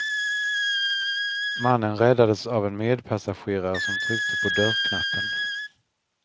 Mannen räddades av en medpassagerare som tryckte på dörrknappen.